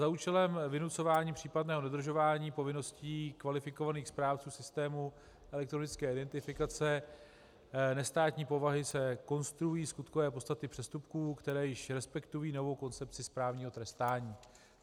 Za účelem vynucování případného dodržování povinností kvalifikovaných správců systému elektronické identifikace nestátní povahy se konstruují skutkové podstaty přestupků, které již respektují novou koncepci správního trestání.